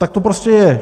Tak to prostě je.